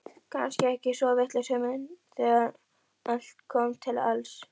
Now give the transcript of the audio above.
Kannski ekki svo vitlaus hugmynd þegar allt kom til alls.